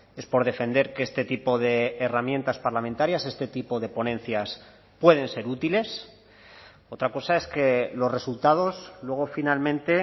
es por defender que este tipo de herramientas parlamentarias este tipo de ponencias pueden ser útiles otra cosa es que los resultados luego finalmente